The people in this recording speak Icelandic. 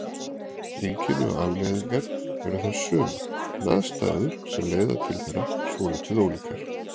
Einkenni og afleiðingar eru þær sömu en aðstæður sem leiða til þeirra svolítið ólíkar.